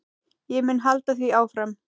Ég mun halda því áfram.